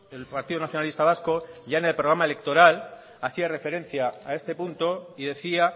el partido nacionalista vasco ya en el programa electoral hacía referencia a este punto y decía